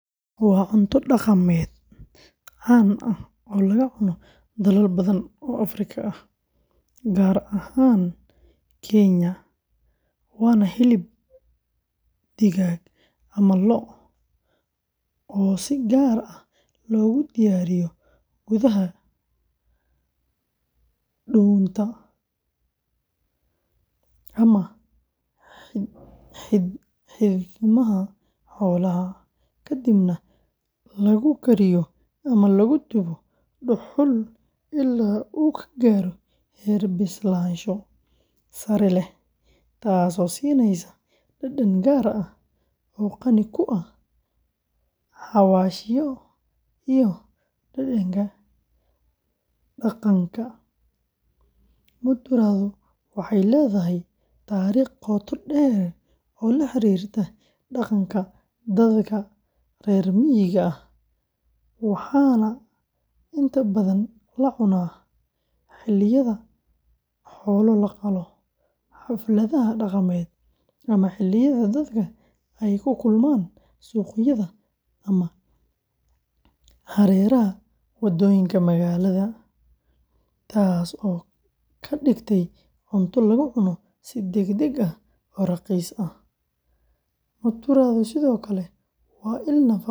waa cunto dhaqameed caan ah oo laga cuno dalal badan oo Afrika ah, gaar ahaan Kenya, waana hilib digaag ama lo’ ah oo si gaar ah loogu diyaariyo gudaha dhuunta ama xiidmaha xoolaha, kadibna lagu kariyo ama lagu dubo dhuxul ilaa uu ka gaaro heer bislaansho sare leh, taasoo siinaysa dhadhan gaar ah oo qani ku ah xawaashyo iyo dhadhanka dhaqanka; mutura-du waxay leedahay taariikh qoto dheer oo la xiriirta dhaqanka dadka reer miyiga ah, waxaana inta badan la cunaa xilliyada xoolo la qalo, xafladaha dhaqameed, ama xilliyada dadka ay ku kulmaan suuqyada ama hareeraha waddooyinka magaalada, taasoo ka dhigtay cunto lagu cuno si degdeg ah oo raqiis ah; mutura-du sidoo kale waa il nafaqo leh.